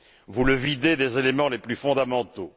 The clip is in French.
Vous le videz des éléments les plus fondamentaux.